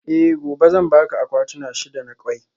Eh gobe zan baka akwatuna shida na kwai